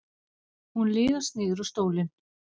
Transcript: Hún liðast niður á stólinn.